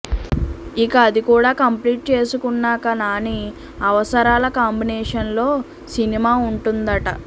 ఇక అది కూడా కంప్లీట్ చేసుకున్నాక నాని అవసరాల కాంబినేషన్లో సినిమా ఉంటుందట